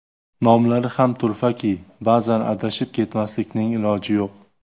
Nomlari ham turfaki, ba’zan adashib ketmaslikning iloji yo‘q.